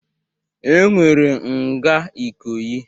E nwere nga Ikoyi.